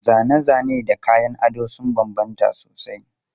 Zane-zane da salon kayan ado sun bambanta sosai.